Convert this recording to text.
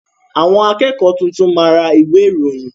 Àwọn akẹ́kọ̀ọ́ tuntun máa ra ìwé ìròyìn.